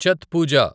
Chhath Pooja